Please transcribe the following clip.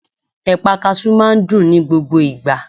Ẹ̀pà kasú máa n dùn ní gbogbo ìgbà